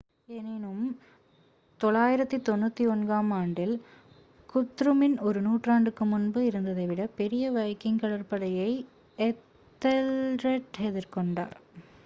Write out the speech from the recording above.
எனினும் 991-ஆம் ஆண்டில் குத்ருமின் ஒரு நூற்றாண்டுக்கு முன்பு இருந்ததைவிட பெரிய வைக்கிங் கடற்படையை எத்தெல்ரெட் எதிர்கொண்டார்